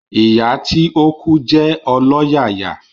Ìyá tí o kú jé ọlọ́yàyà